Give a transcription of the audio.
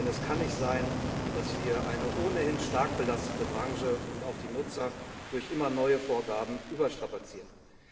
Denn es kann nicht sein, dass wir eine ohnehin stark belastete Branche und auch die Nutzer durch immer neue Vorgaben überstrapazieren.